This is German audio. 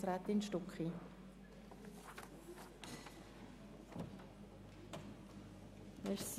Kommissionssprecherin der FiKo-Minderheit.